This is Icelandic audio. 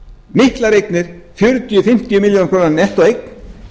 miklar eignir fjörutíu til fimmtíu milljónir króna nettóeign